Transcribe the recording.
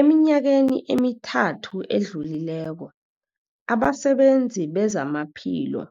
Eminyakeni emithathu edluleko, abasebenzi bezamaphilo